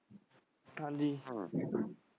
ਹਾਂਜੀ .